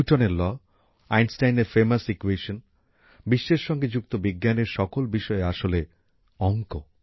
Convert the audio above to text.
নিউটনের ল আইনস্টাইনের famous equation বিশ্বের সঙ্গে যুক্ত বিজ্ঞানের সকল বিষয় আসলে অঙ্ক